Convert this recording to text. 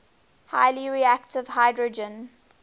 highly reactive hydrogen